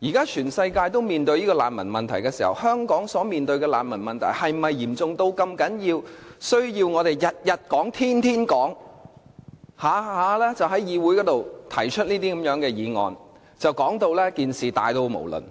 現時全世界都面對難民問題，香港所面對的難民問題是否嚴重到我們需要每天都在討論，動輒在議會提出議案，說事情十分嚴重，